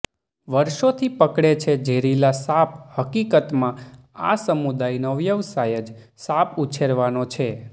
વર્ષોથી પકડે છે ઝેરીલા સાપહકીકતમાં આ સમુદાયનો વ્યવસાય જ સાપ ઉછેરવાનો છે